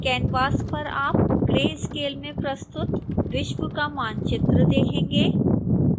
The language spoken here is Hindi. कैनवास पर आप grayscale में प्रस्तुत विश्व का मानचित्र देखेंगे